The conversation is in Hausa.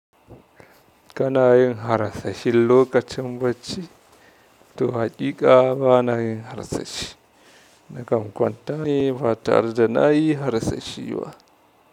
Ka na yin harsashi lokacin bacci, to haƙiƙa ba na yin harsashi. Na kam kwanta ne ba tare da nayi harsashi ba.